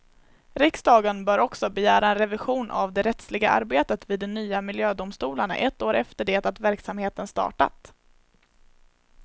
Riksdagen bör också begära en revision av det rättsliga arbetet vid de nya miljödomstolarna ett år efter det att verksamheten startat.